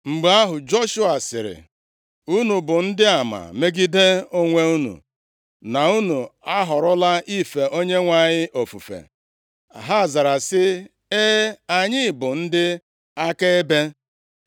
Mgbe ahụ, Joshua sịrị, “Unu bụ ndị ama megide onwe unu na unu ahọrọla ife Onyenwe anyị ofufe.” Ha zara sị, “E, anyị bụ ndị akaebe.”